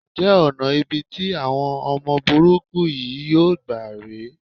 Ǹjẹ́ ọ̀nà ibi tí àwọn ọmọ burúkú yìí yóò gbà rè é?